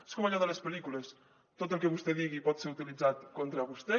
és com allò de les pel·lícules tot el que vostè digui pot ser utilitzat contra vostè